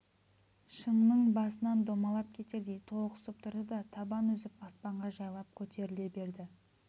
шыңның басынан домалап кетердей толықсып тұрды да табан үзіп аспанға жайлап көтеріле берді